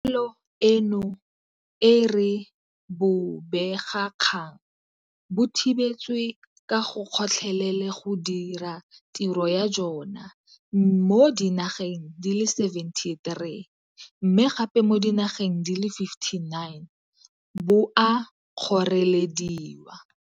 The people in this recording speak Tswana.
Pegelo eno e re bobegakgang bo thibetswe ka gotlhelele go dira tiro ya jona mo dinageng di le 73 mme gape mo dinageng di le 59 bo a kgorelediwa.